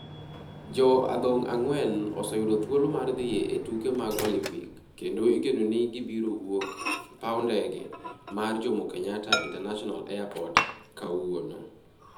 Jo adhong' ang'wen oseyudo thuolo mar dhi e tuke mag Olimpik kendo igeno ni gibiro wuok e paw ndege mar Jomo Kenyatta International Airport kawuono.